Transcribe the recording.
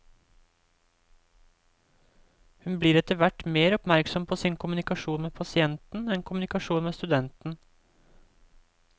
Hun blir etter hvert mer oppmerksom på sin kommunikasjon med pasienten enn kommunikasjonen med studenten.